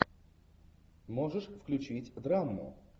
можешь включить драму